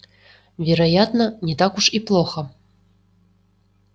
вероятно не так уж и плохо